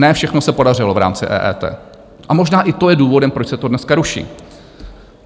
Ne všechno se podařilo v rámci EET a možná i to je důvodem, proč se to dneska ruší.